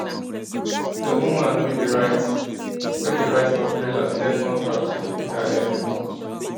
d woman wey dey write wey dey write for freelance get contract wey dey pay her every month